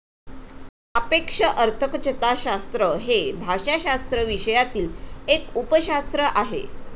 सापेक्ष अर्थकचताशास्त्र हे भाषाशास्त्र विषयातील एक उपशास्त्र आहे.